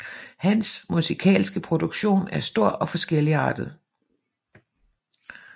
Hans musikalske produktion er stor og forskelligartet